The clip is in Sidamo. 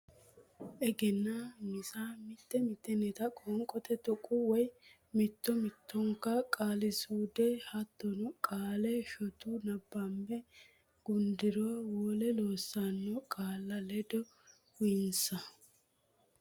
Egennaa misa mitte mittenta qoonqote tuqqo woy mitto mittonka qaali suude hattono qaalla shotu nabbabbe gudduro wole loosiissanno qaalla ledde uyinsa.